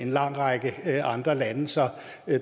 lang række andre lande så